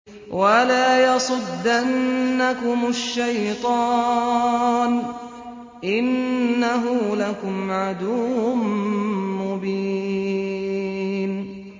وَلَا يَصُدَّنَّكُمُ الشَّيْطَانُ ۖ إِنَّهُ لَكُمْ عَدُوٌّ مُّبِينٌ